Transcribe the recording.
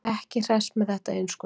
Ekki hress með þetta innskot.